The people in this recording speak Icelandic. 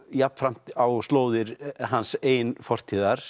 jafnframt á slóðir hans eigin fortíðar